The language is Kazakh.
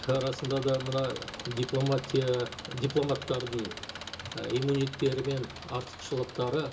і расында да мына дипломатия дипломаттардың і мен артықшылықтары